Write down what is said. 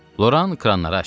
Loran kranları açdı.